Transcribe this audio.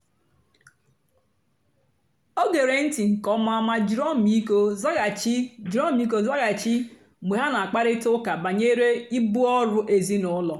o gèrè ntị́ nkè ọ̀ma mà jìrì ọ́mị́íkọ́ zághachì jìrì ọ́mị́íkọ́ zághachì mgbe ha na-àkpárị̀ta ụ́ka bànyèrè ìbù ọ́rụ́ èzìnílọ́.